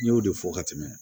N y'o de fɔ ka tɛmɛ